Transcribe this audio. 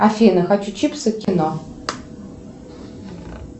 афина хочу чипсы и кино